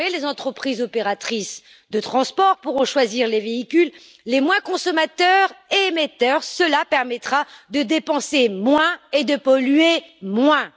Désormais, les entreprises opératrices de transport pourront choisir les véhicules les moins consommateurs et émetteurs cela permettra de dépenser moins et de polluer moins.